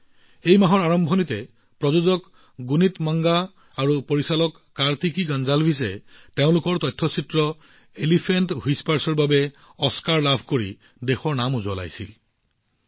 এই মাহত প্ৰযোজক গুনীত মংগা আৰু পৰিচালক কাৰ্তিকি গনজালভেছে তেওঁলোকৰ তথ্যচিত্ৰ দ্য এলিফেন্ট হুইচপাৰছৰ বাবে অস্কাৰ লাভ কৰি দেশলৈ সুনাম কঢ়িয়াই আনিছে